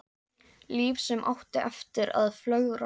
Líf sem átti eftir að flögra.